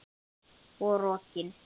Og rokin.